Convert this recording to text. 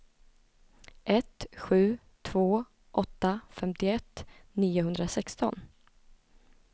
ett sju två åtta femtioett niohundrasexton